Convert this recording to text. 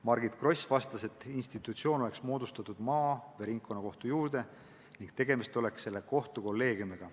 Margit Gross vastas, et institutsioon oleks moodustatud maa- ja ringkonnakohtu juurde ning tegemist oleks selle kohtu kolleegiumiga.